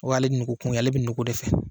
O y'ale nugukun ye ,ale bɛ nugu o de fɛ.